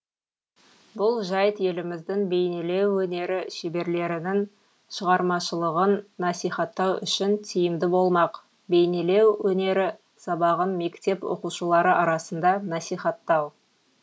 бұл жайт еліміздің бейнелеу өнері шеберлерінің шығармашылығын насихаттау үшін тиімді болмақ бейнелеу өнері сабағын мектеп оқушылары арасында насихаттау